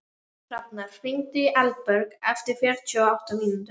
Hafnar, hringdu í Elberg eftir fjörutíu og átta mínútur.